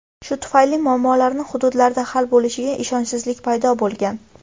Shu tufayli muammolari hududlarda hal bo‘lishiga ishonchsizlik paydo bo‘lgan.